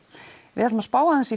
við ætlum að spá aðeins í